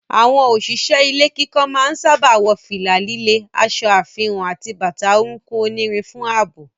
Àwọn òṣìṣẹ́ ilé kíkọ́ máa ń sáábà wọ fìlà líle, aṣọ àfihàn àti bàtà orúnkún onírin fún ààbò.